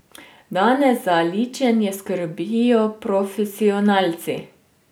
Danes za ličenje skrbijo profesionalci.